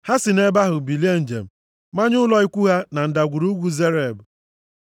Ha si nʼebe ahụ bilie njem, manye ụlọ ikwu ha na Ndagwurugwu Zered.